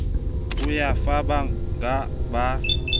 ya ho fa bangga ba